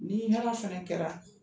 Ni hɛra fɛnɛ kɛra